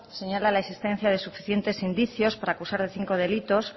señala la existencia de suficientes indicios para acusar de cinco delitos